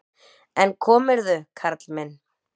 En komirðu, karl minn!